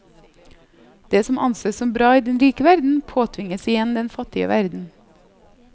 Det som anses som bra i den rike verden, påtvinges igjen den fattige verden.